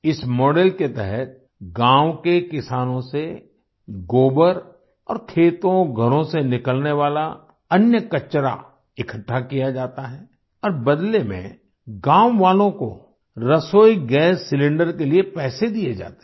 इस मॉडल के तहत गाँव के किसानों से गोबर और खेतोंघरों से निकलने वाला अन्य कचरा इकट्ठा किया जाता है और बदले में गाँव वालों को रसोई गैस सिलेंडर के लिए पैसे दिये जाते हैं